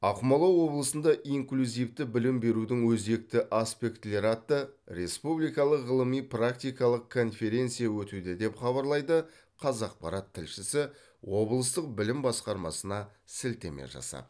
ақмола облысында инклюзивті білім берудің өзекті аспектілері атты республикалық ғылыми практикалық конференция өтуде деп хабарлайды қазақпарат тілшісі облыстық білім басқармасына сілтеме жасап